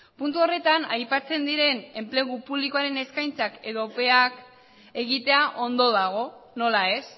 puntu horretan aipatzen diren enplegu publikoaren eskaintzak edo epeak egitea ondo dago nola ez